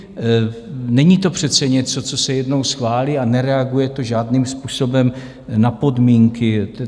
Není to přece něco, co se jednou schválí, a nereaguje to žádným způsobem na podmínky.